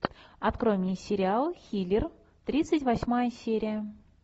открой мне сериал хилер тридцать восьмая серия